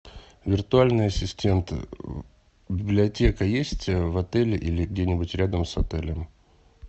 виртуальный ассистент библиотека есть в отеле или где нибудь рядом с отелем